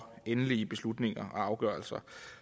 endelige beslutninger og afgørelser